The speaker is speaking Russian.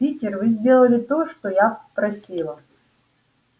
питер вы сделали то что я просила